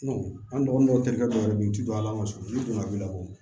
an dɔgɔninw terikɛ dɔw yɛrɛ be yen ji don ala ma sɔn n'u donna a bi labɔ